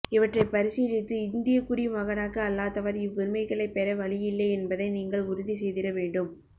இவற்றை பரிசீலித்து இந்தியக்குடி மகனாக அல்லாதவர் இவ்வுரிமைகளைப் பெற வழியில்லை என்பதை நீங்கள் உறுதி செய்திட வேண்டும்